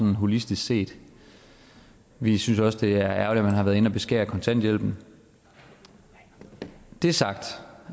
holistisk set vi synes også det er ærgerligt at man har været inde og beskære kontanthjælpen når det er sagt